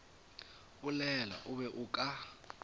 bolela o be o ka